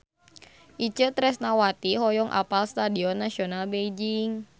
Itje Tresnawati hoyong apal Stadion Nasional Beijing